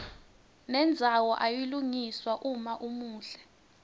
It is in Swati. nendzawo iyalungiswa uma umuhle